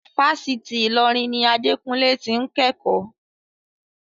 Fásitì Ilorin ni Adekunle ti ń kẹ́kọ̀ọ́.